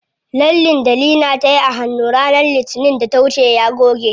Lallen da Leena tayi a hannu ranar litinin da ta wuce ya goge.